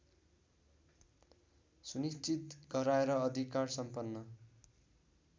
सुनिश्चित गराएर अधिकारसम्पन्न